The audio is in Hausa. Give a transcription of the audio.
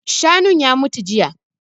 Shanun ya mutu jiya